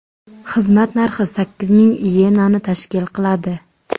Xizmat narxi sakkiz ming iyenani tashkil qiladi.